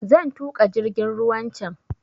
Zan tuƙa jirgin ruwan can